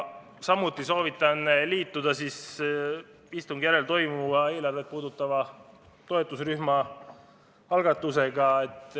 Samuti soovitan liituda istungi järel toimuva eelarvet puudutava toetusrühma algatusega.